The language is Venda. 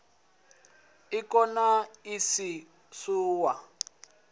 ik na iks u ya